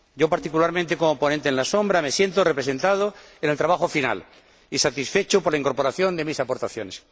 Particularmente, como ponente alternativo, me siento representado en el trabajo final y satisfecho por la incorporación de mis aportaciones.